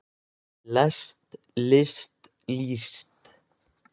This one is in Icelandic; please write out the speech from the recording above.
lest list líst